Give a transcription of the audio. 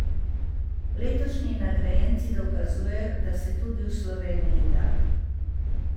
Letošnji nagrajenci dokazujejo, da se tudi v Sloveniji da.